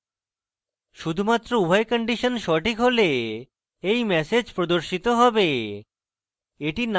শুধুমাত্র উভয় কন্ডিশন সঠিক হলে এই ম্যাসেজ প্রদর্শিত হবে